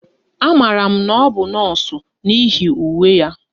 Amaara m na ọ bụ nọọsụ n'ihi uwe ya